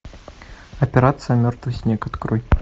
операция мертвый снег открой